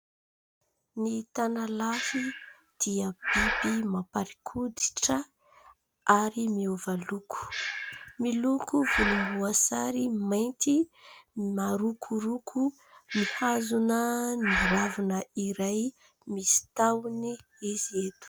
Ny tanalahy dia biby mamparikoditra ary miova loko. Miloko volomboasary mainty, marokoroko, mihazona ny ravina iray misy tahony izy eto.